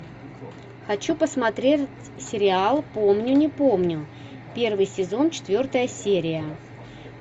хочу посмотреть сериал помню не помню первый сезон четвертая серия